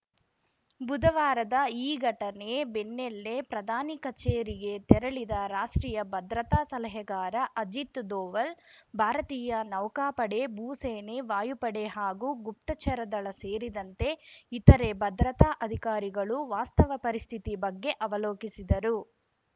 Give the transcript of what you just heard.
ಬುಧವಾರದ ಈ ಘಟನೆ ಬೆನ್ನೇಲ್ಲೇ ಪ್ರಧಾನಿ ಕಚೇರಿಗೆ ತೆರಳಿದ ರಾಷ್ಟ್ರೀಯ ಭದ್ರತಾ ಸಲಹೆಗಾರ ಅಜಿತ್‌ ದೋವಲ್‌ ಭಾರತೀಯ ನೌಕಾಪಡೆ ಭೂಸೇನೆ ವಾಯುಪಡೆ ಹಾಗೂ ಗುಪ್ತಚರ ದಳ ಸೇರಿದಂತೆ ಇತರೆ ಭದ್ರತಾ ಅಧಿಕಾರಿಗಳು ವಾಸ್ತವ ಪರಿಸ್ಥಿತಿ ಬಗ್ಗೆ ಅವಲೋಕಿಸಿದರು